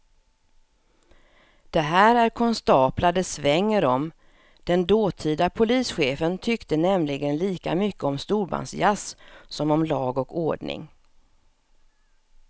Det här är konstaplar det svänger om, den dåtida polischefen tyckte nämligen lika mycket om storbandsjazz som om lag och ordning.